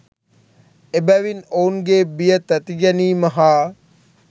එබැවින් ඔවුන්ගේ බිය, තැතිගැනීම හා